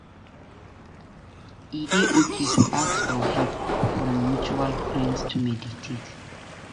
E dey okay to ask for help from mutual friends to mediate.